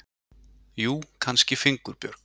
Jú, kannski fingurbjörg.